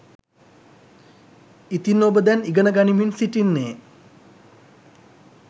ඉතින් ඔබ දැන් ඉගෙන ගනිමින් සිටින්නේ